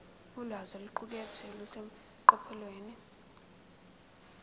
ulwazi oluqukethwe luseqophelweni